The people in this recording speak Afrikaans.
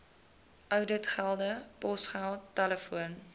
ouditgelde posgeld telefoon